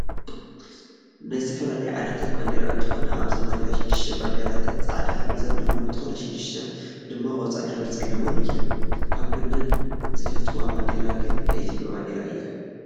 ናይ ዝተፈላለዩ ዓድታት ባንዴራ እነትኮና ኣብዘን ባዴራታት 6ተ ባንዴራታተን ፃዕዳ ሕብሪ ዘለውን እንትኮና 6 ድማ ቆፃል ሕብሪ ዘለወን እየን። ካብ ኩለን ዝፈትዋ ባንዴራ ግና ናይ ኢትዮጰያ ባንዴራ እያ።